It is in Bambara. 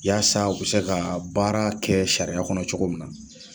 Yaasa u bɛ se ka baara kɛ sariya kɔnɔ cogo min na